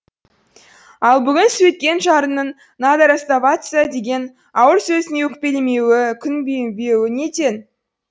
ал бүгін сөйткен жарының надо расставаться деген ауыр сөзіне өкпелемеуі күйінбеуі неден